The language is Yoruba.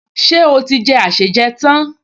Ṣé ó ti jẹ àsèjẹ tán?